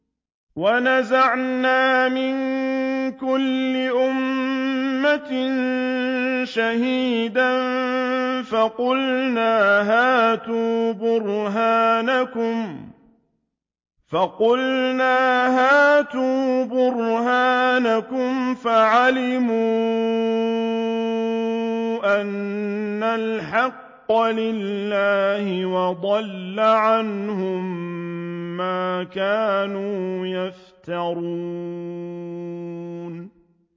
وَنَزَعْنَا مِن كُلِّ أُمَّةٍ شَهِيدًا فَقُلْنَا هَاتُوا بُرْهَانَكُمْ فَعَلِمُوا أَنَّ الْحَقَّ لِلَّهِ وَضَلَّ عَنْهُم مَّا كَانُوا يَفْتَرُونَ